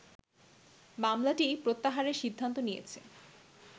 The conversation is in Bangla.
মামলাটিই প্রত্যাহারের সিদ্ধান্ত নিয়েছে